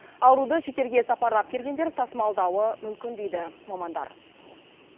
ауруды шетелге сапарлап келгендер тасымалдауы мүмкін дейді мамандар